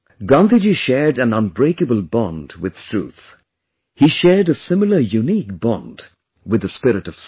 Gandhiji shared an unbreakable bond with truth; he shared a similar unique bond with the spirit of service